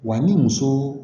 Wa ni muso